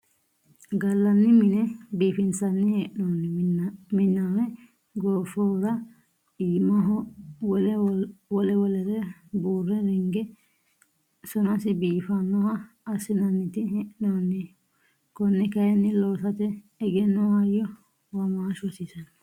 Gallanni mine biifinsanni hee'nonni miname goofohura iimaho wole wolere buure ringe sonasi biifanoha assinanniti hee'nonihu kone kayinni loosate egenno hayyo womaashu hasiisano.